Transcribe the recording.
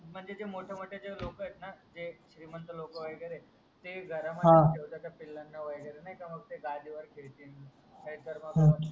म्हणजे जे मोठे मोठे जे लोक आहेत ना ते श्रीमंत लोक वगेरे ते घरा मध्येस ठेवतात त्या पिल्लं ना वगेरे नाही का मग ते गादी वर खेडतील नाही तर मग पुन्हा